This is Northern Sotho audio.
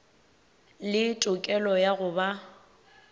le tokelo ya go ba